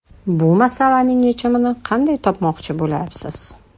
Bu masalaning yechimini qanday topmoqchi bo‘lyapsiz?